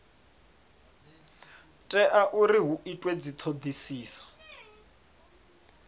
tea uri hu itwe dzithodisiso